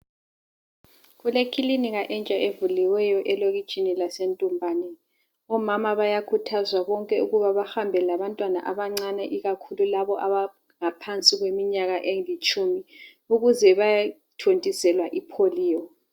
Kulekilinika entsha evuliweyo elokitshini laseEntumbane. Omama bayakhuthazwa bonke ukuba bahambe labantwana abancane ikakhulu labo abaleminyaka engaphansi kwelitshumi ukuze bayathontiselwa ipholiyo.